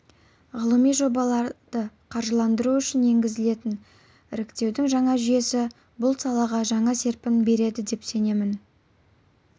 ғылыми жобаларды қаржыландыру үшін енгізілетін іріктеудің жаңа жүйесі бұл салаға жаңа серпін береді деп сенемін